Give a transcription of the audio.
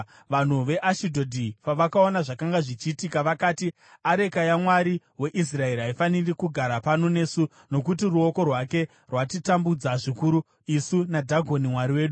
Vanhu veAshidhodhi pavakaona zvakanga zvichiitika vakati, “Areka yaMwari weIsraeri haifaniri kugara pano nesu nokuti ruoko rwake rwatitambudza zvikuru isu naDhagoni mwari wedu.”